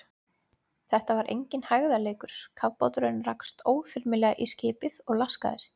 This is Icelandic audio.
Þetta var enginn hægðarleikur, kafbáturinn rakst óþyrmilega í skipið og laskaðist.